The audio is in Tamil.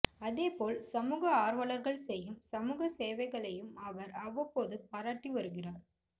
அதேபோல் சமூக ஆர்வலர்கள் செய்யும் சமூக சேவைகளையும் அவர் அவ்வப்போது பாராட்டி வருகிறார்